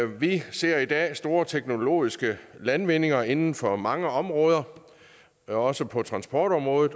vi ser i dag store teknologiske landvindinger inden for mange områder også på transportområdet